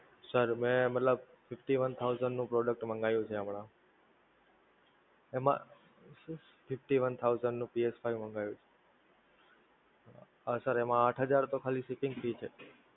Sir મે મતલબ Fifty one thousand નું Product મંગાવ્યું છે હમણાં, એમાં Fifty one thousand નું psFive મંગાવ્યું છે. Sir એમાં આંઠ હજાર તો ખાલી Shipping Fees છે.